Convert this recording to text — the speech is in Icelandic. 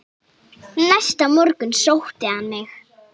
Næsta morgun sótti hann mig.